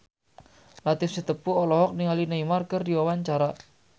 Latief Sitepu olohok ningali Neymar keur diwawancara